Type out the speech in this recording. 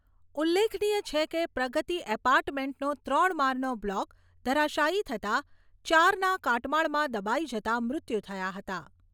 ઉલ્લેખનીય છે કે, પ્રગતિ એપાર્ટમેન્ટનો ત્રણ માળનો બ્લોક ધરાશાયી થતા ચારના કાટમાળમાં દબાઈ જતા મૃત્યુ થયા હતા.